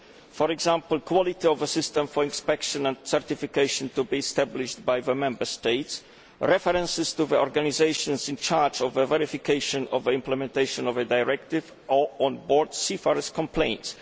For example quality of a system for inspection and certification to be established by the Member States, references to organisations in charge of verification of implementation of a directive, or onboard seafarers' complaints.